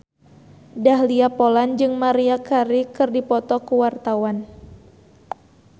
Dahlia Poland jeung Maria Carey keur dipoto ku wartawan